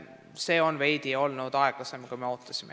Praegu on see olnud veidi aeglasem, kui me ootasime.